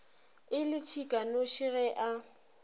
e le tšhikanoši ge a